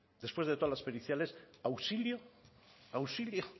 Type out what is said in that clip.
después de todas las periciales auxilio auxilio